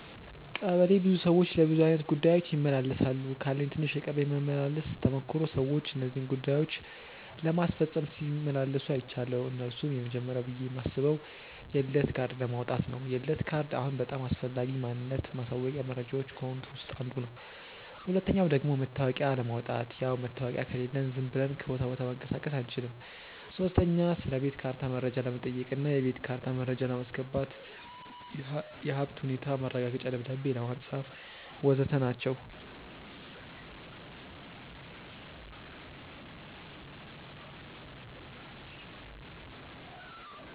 ቀበሌ ብዙ ሰዎች ለብዙ አይነት ጉዳዮች ይመላለሳሉ። ካለኝ ትንሽ የቀበሌ መመላለስ ተሞክሮ ሰዎች እነዚህን ጉዳዮች ለማስፈጸም ሲመላለሱ አይችያለው። እነርሱም፦ የመጀመርያው ብዬ ማስበው የልደት ካርድ ለማውጣት ነው፤ የልደት ካርድ አሁን በጣም አስፈላጊ ማንነት ማሳወቂያ መረጃዎች ከሆኑት ውስጥ አንዱ ነው። ሁለተኛው ደግሞ መታወቂያ ለማውጣት፣ ያው መታወቂያ ከሌለን ዝም ብለን ከቦታ ቦታ መንቀሳቀስ አንችልም። ሶስተኛ ስለቤት ካርታ መረጃ ለመጠየቅ እና የቤት ካርታ መረጃ ለማስገባት፣ የሀብት ሁኔታ ማረጋገጫ ደብዳቤ ለማጻፍ.... ወዘተ ናቸው።